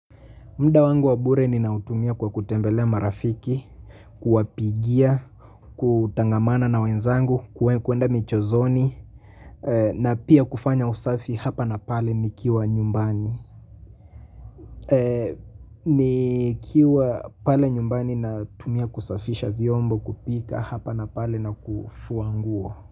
Muda wangu wa bure ninautumia kwa kutembelea marafiki, kuwapigia, kutangamana na wenzangu, kuenda michezoni, na pia kufanya usafi hapa na pale nikiwa nyumbani. Nikiwa pale nyumbani natumia kusafisha vyombo kupika hapa na pale na kufua nguo.